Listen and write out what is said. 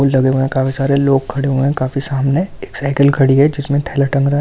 लगे हुए है काफी सारे लोग खड़े हुए है काफी सामने एक साइकिल खड़ी है जिसमे थेला टंग रहा है ।